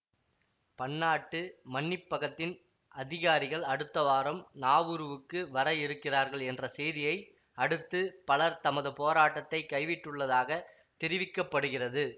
பன்னாட்டு மன்னிப்பகத்தின் அதிகாரிகள் அடுத்த வாரம் நாவுருவுக்கு வர இருக்கிறார்கள் என்ற செய்தியை அடுத்து பலர் தமது போராட்டத்தை கைவிட்டுள்ளதாகத் தெரிவிக்க படுகிறது